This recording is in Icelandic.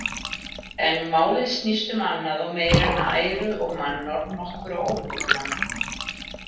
En málið snýst um annað og meira en æru og mannorð nokkurra óbótamanna.